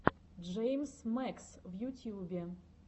джеймс мэкс в ютьюбе